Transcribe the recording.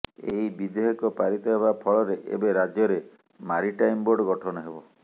ଏହି ବିଧେୟକ ପାରିତ ହେବା ଫଳରେ ଏବେ ରାଜ୍ୟରେ ମାରିଟାଇମ ବୋର୍ଡ ଗଠନ ହେବ